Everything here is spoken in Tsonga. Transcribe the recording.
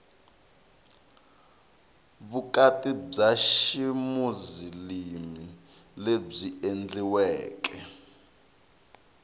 vukati bya ximuzilimi lebyi endliweke